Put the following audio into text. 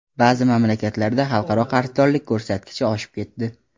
Ba’zi mamlakatlarda xalqaro qarzdorlik ko‘rsatkichi oshib ketdi.